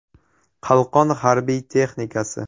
Qalqon harbiy texnikasi.